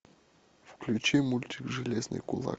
включи мультик железный кулак